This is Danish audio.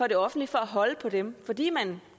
det offentlige for at holde på dem fordi man